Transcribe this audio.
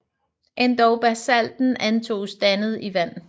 Endog Basalten antoges dannet i Vand